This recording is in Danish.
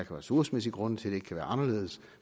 ressourcemæssige grunde til at det ikke kan være anderledes